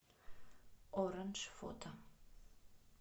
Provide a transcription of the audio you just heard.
оранж фото